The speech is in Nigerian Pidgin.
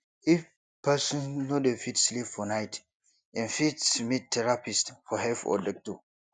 if person no dey fit sleep for night im fit meet therapist for help or doctor